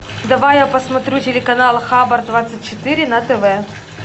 давай я посмотрю телеканал хабар двадцать четыре на тв